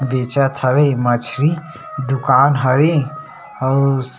बेचत हवे मछरी दुकान हवे आऊ--